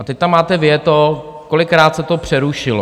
A teď tam máte vyjeto, kolikrát se to přerušilo.